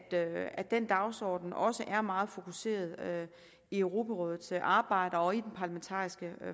at den dagsorden også er meget fokuseret i europarådets arbejde og i den parlamentariske